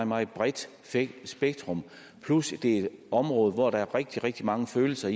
meget bredt spektrum plus at det er et område hvor der er rigtig rigtig mange følelser